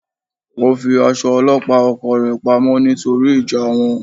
Ó fi aṣọ ọlọ́pàá oko rẹ̀ pa mọ́ nítorí ìjà wọn.